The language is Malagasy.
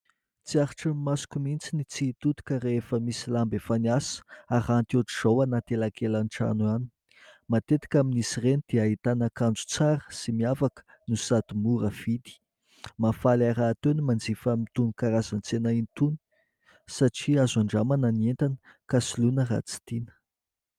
Tsy haritro ny masoko mihitsy ny tsy hitodika rehefa misy lamba efa miasa, haranty ohatran'izao anaty elankelan-trano any. Matetika amin'izy ireny dia ahitana akanjo tsara sy miavaka no sady mora vidy. Mahafaly ahy rahateo ny manjifa amin'itony karazan-tsena itony satria azo handramana ny entana ka soloina raha tsy tiana.